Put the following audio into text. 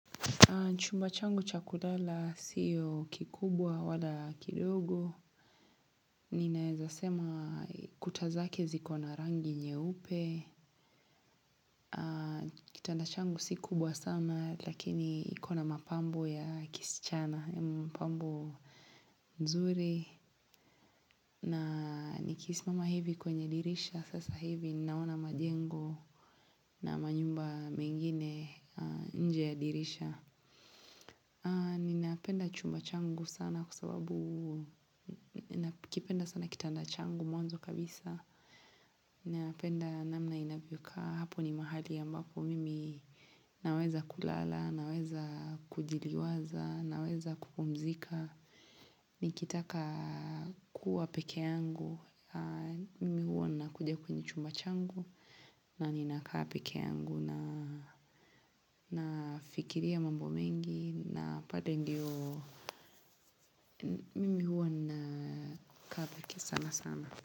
Chumba changu cha kulala siyo kikubwa wala kidogo. Ninaezasema kuta zake ziko na rangi nyeupe. Kitanda changu si kubwa sana lakini iko na mapambo ya kisichana, mapambo nzuri. Na nikisimama hivi kwenye dirisha. Sasa hivi naona majengo na manyumba mengine nje ya dirisha. Ninapenda chumba changu sana kwa sababu ninakipenda sana kitanda changu mwanzo kabisa. Ninapenda namna inavyokaa hapo ni mahali ambapo mimi naweza kulala, naweza kujiliwaza, naweza kupumzika. Nikitaka kuwa pekee yangu mimi huwa nakuja kwenye chumba changu. Na ninakaa pekee yangu na nafikiria mambo mengi. Na pale ndiyo mimi huwa nakaa pekee sana sana.